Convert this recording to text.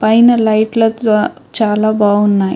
పైన లైట్ల ద్వ చాలా బావున్నాయ్.